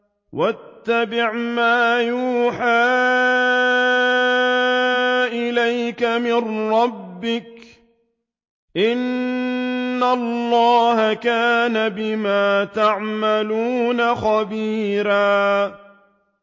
وَاتَّبِعْ مَا يُوحَىٰ إِلَيْكَ مِن رَّبِّكَ ۚ إِنَّ اللَّهَ كَانَ بِمَا تَعْمَلُونَ خَبِيرًا